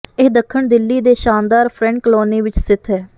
ਇਹ ਦੱਖਣ ਦਿੱਲੀ ਦੇ ਸ਼ਾਨਦਾਰ ਫ੍ਰੈਂਡ ਕਲੋਨੀ ਵਿੱਚ ਸਥਿੱਤ ਹੈ